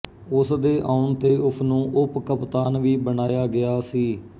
ਉਸ ਦੇ ਆਉਣ ਤੇ ਉਸ ਨੂੰ ਉਪ ਕਪਤਾਨ ਵੀ ਬਣਾਇਆ ਗਿਆ ਸੀ